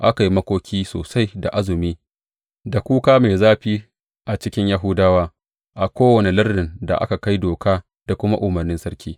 Aka yi makoki sosai da azumi, da kuka mai zafi a cikin Yahudawa a kowane lardin da aka kai doka da kuma umarnin sarki.